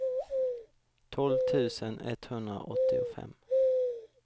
tolv tusen etthundraåttiofem